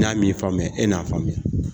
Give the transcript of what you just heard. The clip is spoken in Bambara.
N'a m'i faamuya e n'a faamuya